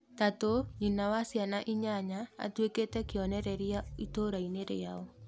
Tatu, nyina wa ciana inyanya atuĩkĩte kĩonereria itũra-inĩ rĩao.